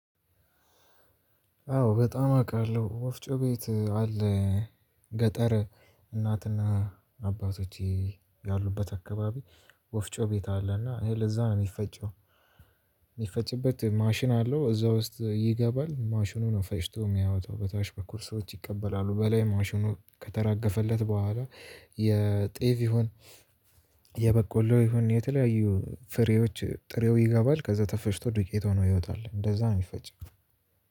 አዎ፣ በጣም አውቃለሁ፣ ወፍጮ ቤት አለ፣ ገጠር እናትና አባቶቼ ያሉበት አካባቢ ወፍጮ ቤት አለና፣ እህል እዛ ነው የሚፈጨው የሚፈጭበት ማሽን አለው፣ እዛ ውስጥ ይገባል፣ ማሽኑ ነው ፈጭቶ የሚያወጣው፣ በታች በኩል ሰዎች ይቀበላሉ፣ በላይ ማሽኑ ከተራገፈለት በኋላ የጤፍ ይሁን""" የበቆሎ ይሁን የተለያዩ ፍሬዎች፣ ጥሬው ይገባል፣ ከዛ ተፈጭቶ ዱቄት ሆኖ ዱቄ ሆኖ ይወጣል፣ እንደዛ ነው የሚፈጨው።